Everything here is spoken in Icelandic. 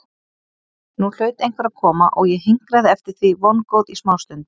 Nú hlaut einhver að koma og ég hinkraði eftir því vongóð í smástund.